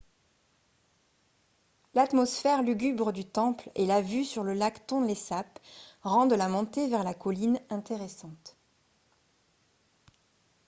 l'atmosphère lugubre du temple et la vue sur le lac tonlé sap rendent la montée vers la colline intéressante